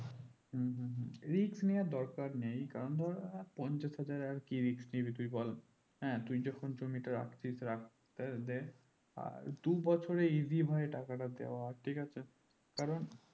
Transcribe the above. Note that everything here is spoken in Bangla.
risk নিওয়ার দরকার নেই কারণ ধরো আর পঞ্চাশ হাজার আর কি risk নিবি তুই বল হ্যাঁ তুই যখন জমি টো at least রাখতে দেয় আর দুবছরে easy হয় টাকাটা দেওয়া ঠিক আছে কারণ